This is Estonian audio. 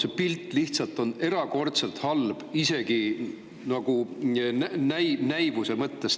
See pilt lihtsalt on erakordselt halb, isegi näivuse mõttes.